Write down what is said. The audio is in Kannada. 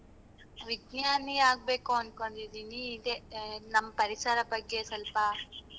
ವಿಜ್ಞಾನಿ ಆಗ್ಬೇಕು ಅನ್ಕೊಂಡಿದೀನಿ ಈಗ ನಮ್ ಪರಿಸರದ್ ಬಗ್ಗೆ ಸ್ವಲ್ಪ,